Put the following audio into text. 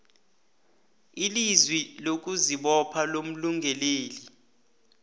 ilizwi lokuzibopha lomlungeleli